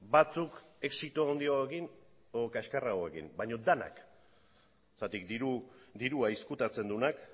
batzuk exito handiagoekin edo kaskarragoekin baina denak zergatik dirua ezkutatzen duenak